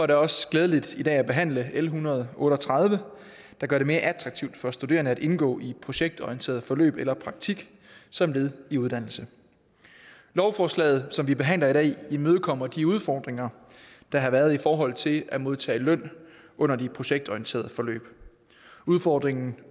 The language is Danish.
det også glædeligt i dag at behandle l en hundrede og otte og tredive der gør det mere attraktivt for studerende at indgå i projektorienterede forløb eller praktik som led i uddannelse lovforslaget som vi behandler i dag imødekommer de udfordringer der har været i forhold til at modtage løn under de projektorienterede forløb udfordringen